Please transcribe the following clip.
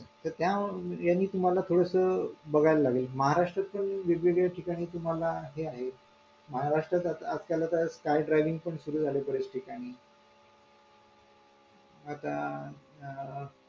तर आता यांनी तुम्हाला थोडसं बघावं लागेल महाराष्ट्र पण वेगवेगळ्या ठिकाणी तुम्हाला हे आहे महाराष्ट्र आज-काल आता sky driving सुद्धा सुरू झालेली आहे बरेच ठिकाणी आता अ